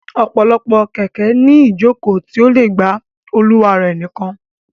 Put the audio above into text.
Ọ̀pọ̀lọpọ̀ kẹ̀kẹ́ ní iìjòkó tí ó le gba olùwà rẹ̀ nìkan